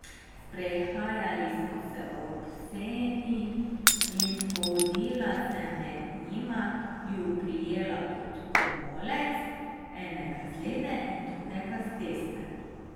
Sprehajali smo se ob Seni in hodila sem med njima, ju prijela pod komolec, enega z leve in drugega z desne.